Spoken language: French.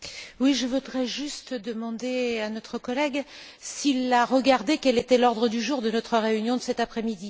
Je voudrais juste demander à notre collègue s'il a regardé quel était l'ordre du jour de notre réunion de cet après midi.